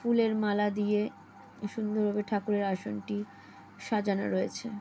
ফুলের মালা দিয়ে-এ সুন্দর ভাবে ঠাকুরের আসনটি সাজানো রয়েছে।